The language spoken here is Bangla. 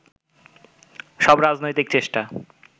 সব রাজনৈতিক চেষ্টা